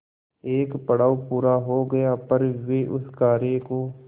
एक पड़ाव पूरा हो गया पर वे उस कार्य को